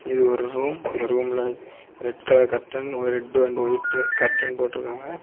இது ஒரு ரூம் இந்த ரூம்ல red colour curtain red and white curtain போட்ருக்காங்க.